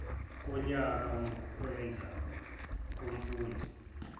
konyaka mukwenza komfundi